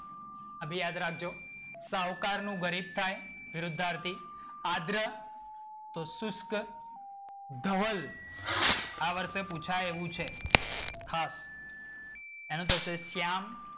આ બી યાદ રાખજો સાહુકારનું ગરીબ થાય. વિરુદ્ધાર્થી આગ્રહ તો શુષ્ક. ધવલ આ વર્ષે પૂછાય એવું છે. ખાસ. એનું થશે શ્યામ.